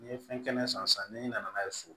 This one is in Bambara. N'i ye fɛn kɛnɛ san ni nana n'a ye so